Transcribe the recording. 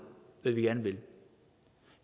hvad vi gerne vil